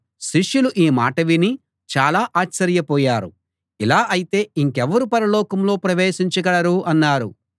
శిష్యులు ఈ మాట విని చాలా ఆశ్చర్యపోయారు ఇలా అయితే ఇంకెవరు పరలోకంలో ప్రవేశించగలరు అన్నారు